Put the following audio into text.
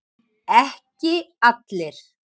Ekki allir.